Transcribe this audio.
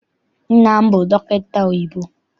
Nna m bụ dọkịta oyibo.